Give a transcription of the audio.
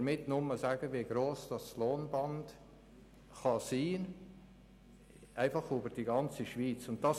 Damit will ich nur aufzeigen, wie breit das Lohnband, über die ganze Schweiz gesehen, sein kann.